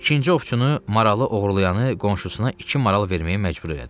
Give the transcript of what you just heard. İkinci ovçunu maralı oğurlayanı qonşusuna iki maral verməyə məcbur elədi.